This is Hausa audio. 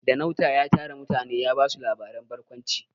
Ɗanauta ya tara mutane ya ba su labaren barkwanci.